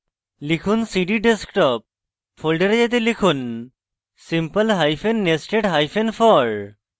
লিখুন cd desktop folder যেতে লিখুন simple hyphen nested hyphen for